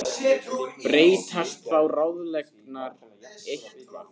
Breytast þá ráðleggingarnar eitthvað?